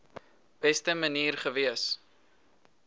beste manier gewees